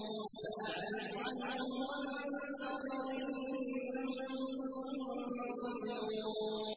فَأَعْرِضْ عَنْهُمْ وَانتَظِرْ إِنَّهُم مُّنتَظِرُونَ